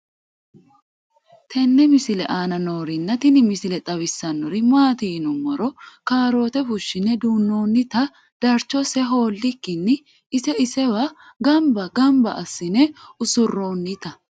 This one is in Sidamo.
tenne misile aana noorina tini misile xawissannori maati yinummoro kaarootte fushshinne duunoonnitta darichosse hoolikkinni ise isewa ganbba ganbba asiinne usuroonnitta